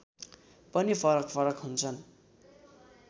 पनि फरकफरक हुन्छन्